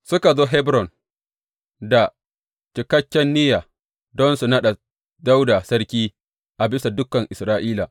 Suka zo Hebron da cikakken niyya don su naɗa Dawuda sarki a bisa dukan Isra’ila.